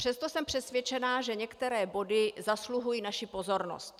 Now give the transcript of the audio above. Přesto jsem přesvědčená, že některé body zasluhují naši pozornost.